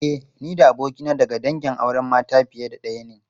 E, ni da abokina daga dangin auren mata fiye da daya ne.